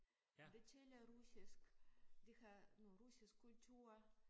De taler russisk de har noget russisk kultur